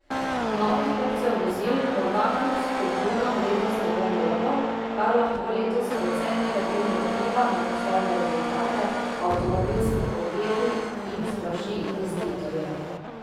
Novih kupcev vozil morda kljub spodbudam letos ne bo mnogo, kar lahko letos precej negativno vpliva na poslovne rezultate avtomobilskih podjetij in splaši investitorje.